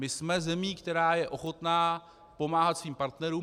My jsme zemí, která je ochotná pomáhat svým partnerům.